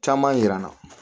Caman yira la